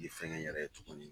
I sɛgɛn yɛrɛ ye tuguni